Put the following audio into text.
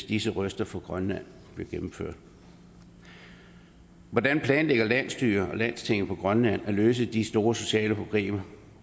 disse røster fra grønland bliver gennemført hvordan planlægger landsstyret og landstinget i grønland at løse de store sociale problemer